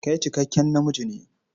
Kai cikakken namiji ne?